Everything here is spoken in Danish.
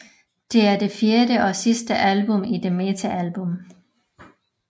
Det er det fjerde og sidste album i The Meta Album